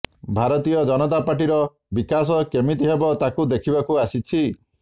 ଭାରତୀୟ ଜନତା ପାର୍ଟିର ବିକାଶ କେମିତି ହେବ ତାକୁ ଦେଖିବାକୁ ଆସିଛି